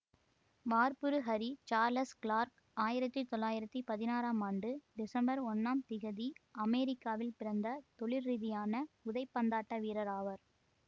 வார்ப்புருஹரி Charles Clark ஆயிரத்தி தொள்ளாயிரத்தி பதினாறாம் ஆண்டு டிசம்பர் ஒன்னாம் திகதி அமெரிக்காவில் பிறந்த தொழில்ரீதியான உதைப்பந்தாட்ட வீரர் ஆவார்